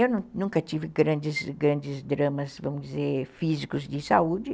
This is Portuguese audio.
Eu nunca tive grandes, grandes dramas, vamos dizer, físicos de saúde.